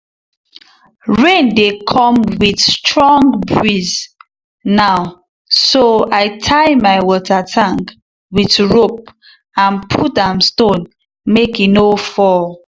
rain dey come with strong breeze now so i tie my water tank with rope and put am stone make e no fall.